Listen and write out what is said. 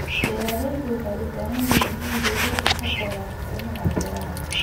Beeraleydu waxay u baahan yihiin in dawladdu ka taageerto dhinaca beeraha.